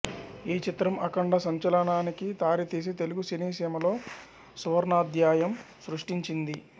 ఈ చిత్రం అఖంఢ సంచలనానికి దారితీసి తెలుగు సినీ సీమలో సువర్ణాధ్యాయం సృస్టించింది